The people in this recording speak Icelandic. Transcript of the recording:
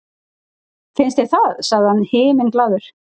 Finnst þér það? sagði hann himinglaður.